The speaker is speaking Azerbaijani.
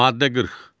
Maddə 40.